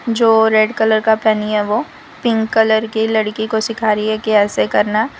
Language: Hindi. जो रेड कलर का पहनी है वो पिंक कलर की लड़की को सीख रही कि ऐसे करना है।